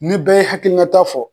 Ni bɛɛ y'i hakilinata fɔ